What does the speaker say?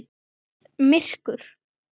Það var komið myrkur.